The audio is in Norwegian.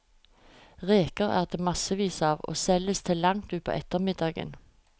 Reker er det massevis av, og selges til langt utpå ettermiddagen.